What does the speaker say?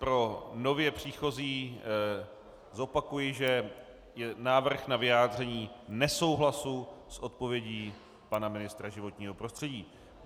Pro nově příchozí zopakuji, že je návrh na vyjádření nesouhlasu s odpovědí pana ministra životního prostředí.